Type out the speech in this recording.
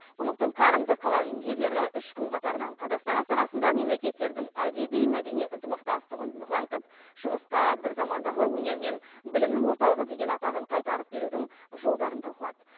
құрлықтың қарымды қаламгерлері үш күн қатарынан қазақстан астанасында мемлекеттердің әдеби мәдени ынтымақтастығын нығайтып шығысқа бір замандағы өнер мен білімнің орталығы деген атағын қайтарып берудің жолдарын талқылады